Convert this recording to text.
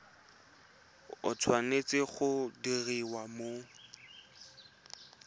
e tshwanetse go diriwa mo